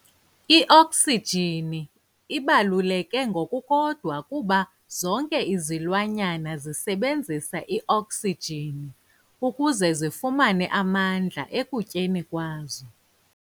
I-Oxygen ibaluleke ngokukodwa kuba zonke izilwanyana zisebenzisa i-oxygen ukuze zifumane amandla ekutyeni kwazo.